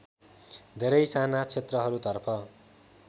धेरै साना क्षेत्रहरूतर्फ